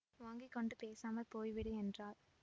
வாங்கி கொண்டு பேசாமல் போய்விடு என்றாள்